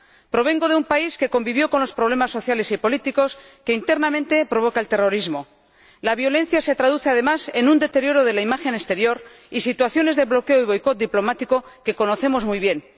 Provengo de un país que convivió con los problemas sociales y políticos que internamente provoca el terrorismo. La violencia se traduce, además, en un deterioro de la imagen exterior y en situaciones de bloqueo y boicot diplomático, que conocemos muy bien.